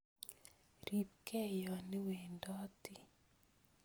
Ripke yoniwendoti